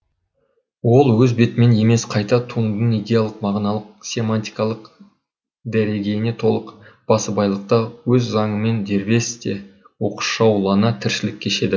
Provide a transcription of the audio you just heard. ол өз бетімен емес қайта туындының идеялық мағыналық семантикалық дәрегейіне толық басыбайлықта өз заңымен дербес те оқшаулана тіршілік кешеді